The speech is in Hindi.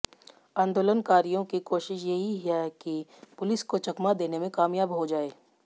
आंदोलनकारियों की कोशिश यही है कि पुलिस को चकमा देने में कामयाब हो जाएं